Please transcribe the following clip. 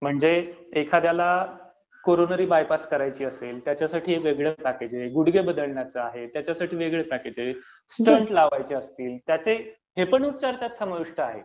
म्हणजे एखाद्याला coronary bypass करायची असेल, त्याच्यासाठी वेगळं पॅकेज आहे, गुढगे बदलण्यासाठी आहे त्याच्यासाठी वेगळं पॅकेज आहे, स्टड्स लावायचे असतील, हे पण उपचार त्यात समाविष्ट आहेत.